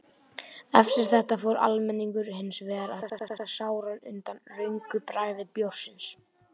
Eftir þetta fór almenningur hins vegar að kvarta sáran undan röngu bragði bjórsins.